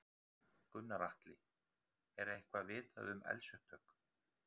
Gunnar Atli: Er eitthvað vitað um eldsupptök?